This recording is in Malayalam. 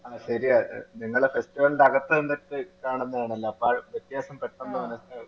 ആഹ് ശെരിയാ നിങ്ങളെ festival ന്റെ അകത്തു കണ്ടിട്ട് കാണുന്നതാണല്ലോ അപ്പൊ വ്യത്യാസം പെട്ടന്ന് മനസിലാകും